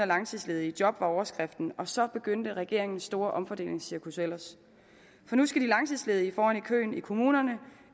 langtidsledige i job var overskriften og så begyndte regeringens store omfordelingscirkus ellers for nu skal de langtidsledige foran i køen i kommunerne